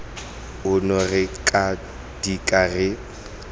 ono re tla dika re